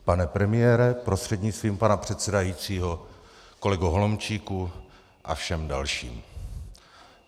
Pane premiére, prostřednictvím pana předsedajícího kolego Holomčíku, a všem dalším.